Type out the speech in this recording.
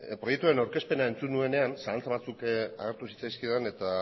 proiektuaren aurkezpena entzun nuenean zalantza batzuk agertu zitzaizkidan eta